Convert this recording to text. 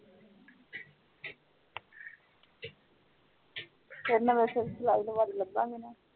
ਫੇਰ ਤਾ ਬਸ ਲਾਭ